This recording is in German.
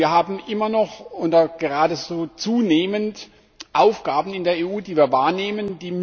Wir haben immer noch oder geradezu zunehmend Aufgaben in der EU, die wir wahrnehmen.